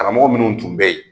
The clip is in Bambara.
Karamɔgɔ minnu tun bɛ yen